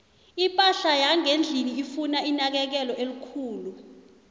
iphahla yangendlini ifuna inakekelo elikhulu